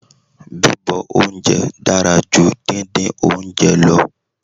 Bíbọ oúnjẹ dára ju díndín oúnjẹ lọ.